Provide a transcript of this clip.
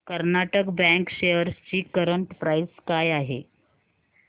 Karnataka bank shares ची current price काय आहे